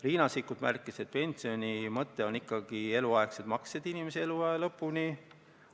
Riina Sikkut märkis, et pensioni mõte on ikkagi eluaegsed maksed inimese eluaja lõpuni.